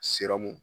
Siramu